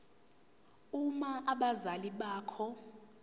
uma abazali bakho